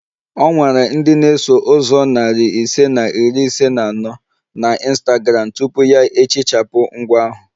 O nwere ndị na-eso ụzọ narị ise na iri ise na anọ na Instagram tupu ya ehichapụ ngwa ahụ